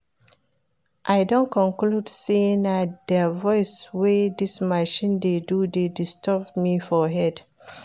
I don conclude say na the noise wey dis machine dey do dey disturb me for head